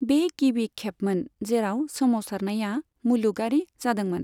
बे गिबि खेबमोन जेराव सोमावसारनाया मुलुगआरि जादोंमोन।